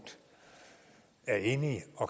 at